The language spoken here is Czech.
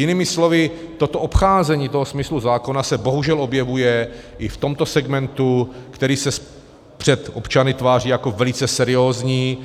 Jinými slovy, toto obcházení toho smyslu zákona se bohužel objevuje i v tomto segmentu, který se před občany tváří jako velice seriózní,